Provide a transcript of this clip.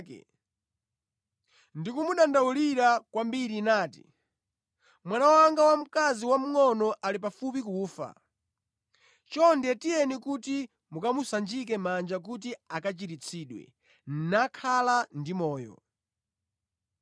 ndi kumudandaulira kwambiri nati, “Mwana wanga wamkazi wamngʼono ali pafupi kufa. Chonde tiyeni kuti mukamusanjike manja kuti akachiritsidwe nakhala ndi moyo.”